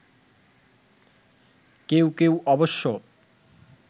কেউ কেউ অবশ্য